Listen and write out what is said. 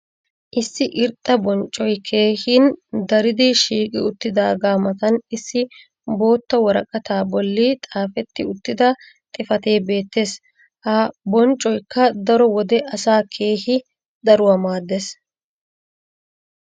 issi irxxa bonccoy keehin daridi shiiqqi uttidaaga matan issi bootta woraqataa boli xaafetti uttida xifatee beetees. ha bonccoykka daro wode asaa keehi daruwa maadees.